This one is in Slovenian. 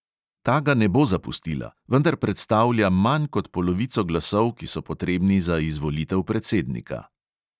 Ta ga ne bo zapustila, vendar predstavlja manj kot polovico glasov, ki so potrebni za izvolitev predsednika.